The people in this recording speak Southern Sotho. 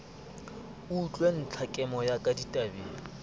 utlwe ntlhakemo ya ka tabeng